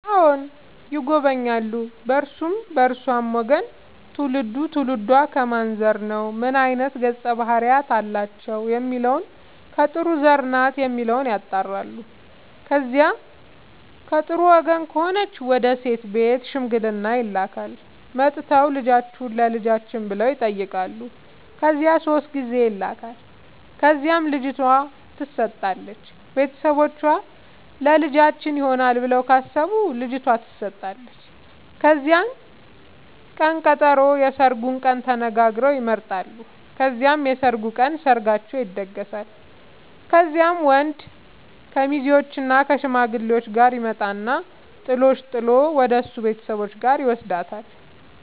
አዎ ይጎበኛሉ በእርሱም በእርሷም ወገን ትውልዱ ትውልዷ ከማን ዘር ነው ምን አይነት ገፀ ባህርያት አላቸው የሚለውን ከጥሩ ዘር ናት የሚለውን ያጣራሉ። ከዚያ ከጥሩ ወገን ከሆነች ወደ ሴት ቤት ሽምግልና ይላካል። መጥተው ልጃችሁን ለልጃችን ብለው ይጠያቃሉ ከዚያ ሶስት ጊዜ ይላካል ከዚያም ልጅቷ ትሰጣለች ቤተሰቦቿ ለልጃችን ይሆናል ብለው ካሰቡ ልጇቷ ተሰጣለች ከዚያም ቅን ቀጠሮ የስርጉን ቀን ተነጋግረው ይመጣሉ ከዚያም የሰርጉ ቀን ሰርጋቸው ይደገሳል። ከዚያም ወንድ ከሙዜዎችእና ከሽማግሌዎቹ ጋር ይመጣና ጥሎሽ ጥል ወደሱ ቤተሰቦች ጋር ይውስዳታል።